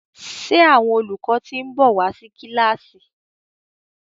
ṣe Àwọn olùkọ tin nbọ wá sí kilasi?